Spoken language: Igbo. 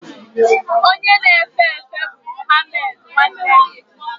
Onye na-efe efe bụ Muhammed nwanne gị?